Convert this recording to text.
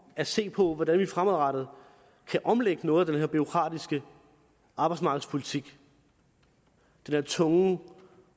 at se på hvordan vi fremadrettet kan omlægge noget af den bureaukratiske arbejdsmarkedspolitik den her tunge